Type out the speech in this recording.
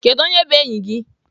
Kedu onye by enyi gị?